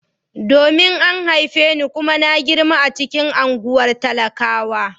Domin an haife ni kuma na girma a cikin unguwar talaka.